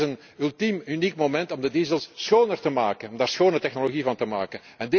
gooien. Maar dit is een ultiem uniek moment om de diesels schoner te maken en daarvan schone technologie